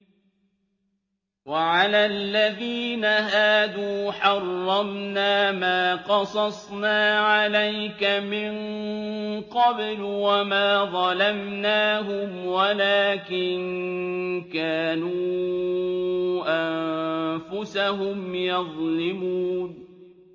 وَعَلَى الَّذِينَ هَادُوا حَرَّمْنَا مَا قَصَصْنَا عَلَيْكَ مِن قَبْلُ ۖ وَمَا ظَلَمْنَاهُمْ وَلَٰكِن كَانُوا أَنفُسَهُمْ يَظْلِمُونَ